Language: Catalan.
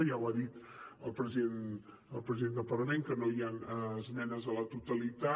ja ho ha dit el president del parlament que no hi han esmenes a la totalitat